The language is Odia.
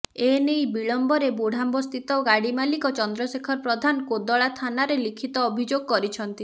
ଏ ନେଇ ବିଳମ୍ବରେ ବୁଢ଼ାମ୍ବସ୍ଥିତ ଗାଡ଼ି ମାଲିକ ଚନ୍ଦ୍ରଶେଖର ପ୍ରଧାନ କୋଦଳା ଥାନାରେ ଲିଖିତି ଅଭିଯୋଗ କରିଛନ୍ତି